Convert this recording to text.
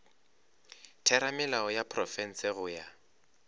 theramelao ya profense go ya